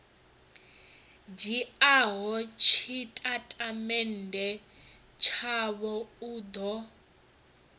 dzhiaho tshitatamennde tshavho u ḓo